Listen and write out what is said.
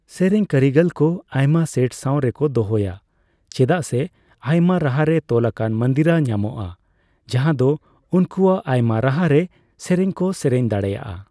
ᱥᱮᱨᱮᱧ ᱠᱟᱹᱨᱤᱜᱚᱞ ᱠᱚ ᱟᱭᱢᱟ ᱥᱮᱴ ᱥᱟᱣ ᱨᱮᱠᱚ ᱫᱚᱦᱚᱭᱟ, ᱪᱮᱫᱟᱜ ᱥᱮ ᱟᱭᱢᱟ ᱨᱟᱦᱟ ᱨᱮ ᱛᱚᱞᱟᱠᱟᱱ ᱢᱚᱱᱫᱤᱨᱟ ᱧᱟᱢᱚᱜᱼᱟ, ᱡᱟᱦᱟᱸ ᱫᱚ ᱩᱱᱠᱩᱣᱟᱜ ᱟᱭᱢᱟ ᱨᱟᱦᱟ ᱨᱮ ᱥᱮᱨᱮᱧ ᱠᱚ ᱥᱮᱨᱮᱧ ᱫᱟᱲᱮᱭᱟᱜᱼᱟ ᱾